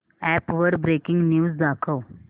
app वर breaking news दाखव